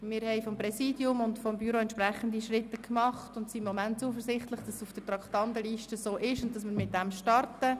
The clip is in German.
Wir haben vom Präsidium und vom Büro entsprechende Schritte unternommen und sind gegenwärtig zuversichtlich, dass dies bleibt und wir damit starten.